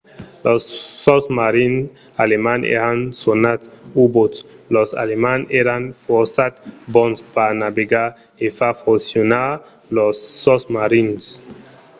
los sosmarins alemands èran sonats u-boats. los alemands èran fòrça bons per navegar e far foncionar lors sosmarins